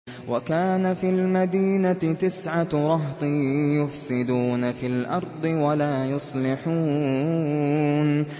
وَكَانَ فِي الْمَدِينَةِ تِسْعَةُ رَهْطٍ يُفْسِدُونَ فِي الْأَرْضِ وَلَا يُصْلِحُونَ